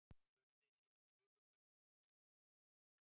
spurði síra Sigurður ískalt.